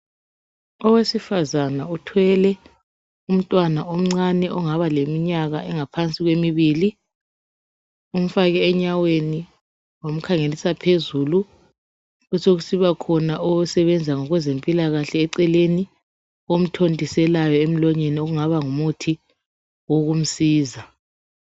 Owesifazana uthwele umntwana omncane ongaba leminyaka engaphansi kwemibili umfake enyaweni wamkhangelisa phezulu besokusiba khona osebenza kwezempilakahle eceleni omthontiselayo emlonyeni okungaba ngumuthi wokumsiza.